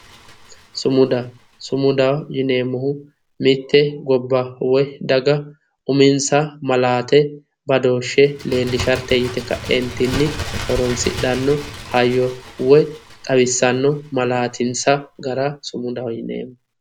sumuda, sumudaho yineemmohu mitte daga woy gobba uminsaha maalate woy badooshshe leellishshate yite ka; eentinni horonsi'dhanno hayyo woy xawissanno malaatinsa gara sumudaho yineemmo